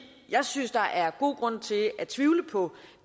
jeg synes der er god grund til at tvivle på